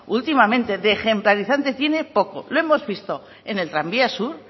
últimamente de ejemplarizando tiene poco lo hemos visto en el tranvía sur